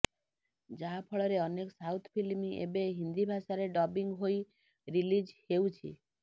ଯାହା ଫଳରେ ଅନେକ ସାଉଥ୍ ଫିଲ୍ମ ଏବେ ହିନ୍ଦୀ ଭାଷାରେ ଡବିଂ ହୋଇ ରିଲିଜ୍ ହେଉଛି